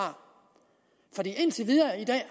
for indtil videre